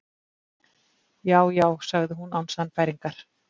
Já, já- sagði hún án sannfæringar.